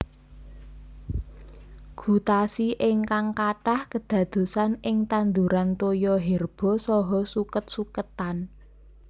Gutasi ingkang katah kèdadosan ing tanduran toya herba saha sukèt sukètan